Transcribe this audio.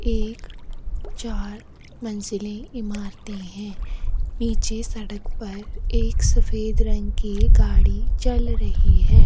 एक चार मंजिले ईमारते है नीचे सड़क पर एक सफ़ेद रंग की गाड़ी चल रही है।